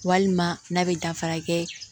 Walima n'a bɛ dafara kɛ